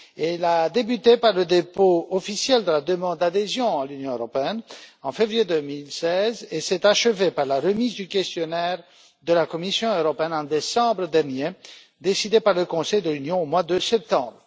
Elle a débuté par le dépôt officiel de la demande d'adhésion à l'Union européenne en février 2016 et s'est achevée par la remise du questionnaire de la Commission européenne en décembre dernier, décidée par le Conseil de l'Union au mois de septembre.